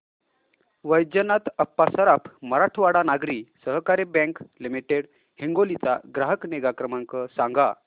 वैजनाथ अप्पा सराफ मराठवाडा नागरी सहकारी bank limited Hingoli चा ग्राहक निगा क्रमांक सांगा